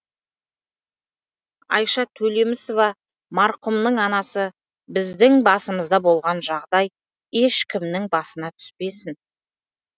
айша төлемісова марқұмның анасы біздің басымызда болған жағдай ешкімнің басына түспесін